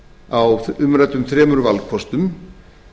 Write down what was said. á umræddum þremur valkostum